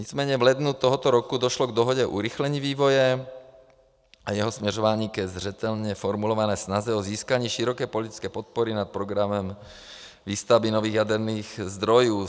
Nicméně v lednu tohoto roku došlo k dohodě urychlení vývoje a jeho směřování ke zřetelně formulované snaze o získání široké politické podpory nad programem výstavby nových jaderných zdrojů.